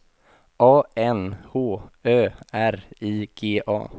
A N H Ö R I G A